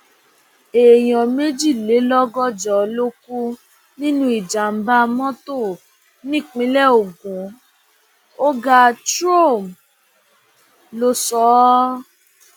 èèyàn méjìlélọgọjọ ló kú nínú ìjàmbá mọtò nípínlẹ ogun ọgá trome ló sọ ọ